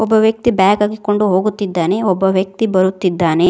ಒಬ್ಬ ವ್ಯಕ್ತಿ ಬ್ಯಾಗ್ ಹಾಕಿಕೊಂಡು ಹೋಗುತ್ತಿದ್ದಾನೆ ಒಬ್ಬ ವ್ಯಕ್ತಿ ಬರುತ್ತಿದ್ದಾನೆ.